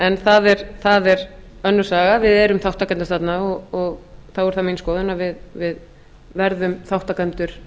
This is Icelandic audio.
en það er önnur saga við erum þátttakendur þarna og þá er það mín skoðun að við verðum þátttakendur